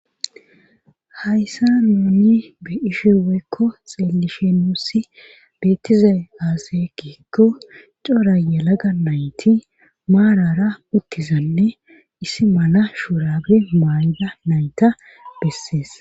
hayssa nuuni be ishi weykko xeellishenossi beettize aaseekeekko cora yalaga nayti maarara uttizanne issi mana shuurabe maayda nayta bessees